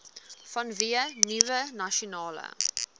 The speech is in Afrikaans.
vanweë nuwe nasionale